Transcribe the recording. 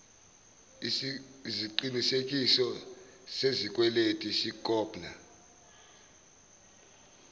iziqinisekiso sesikweletu sikhopna